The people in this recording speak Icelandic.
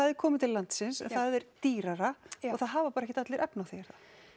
er komið til landsins en það er dýrara og það hafa bara ekkert allir efni á því er